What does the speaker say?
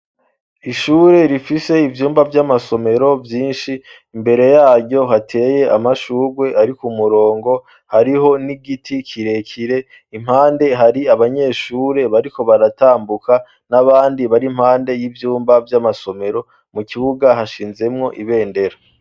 Ishure rifise ivyumba vy'amasomero vyinshi imbere yaryo hateye amashugwe arikumurongo hariho n'igiti kirekire impande hari abanyeshure bariko baratambuka n'abandi bari impande y'ivyumba vy'amasomero mu kibuga hashinzemwo ibendera.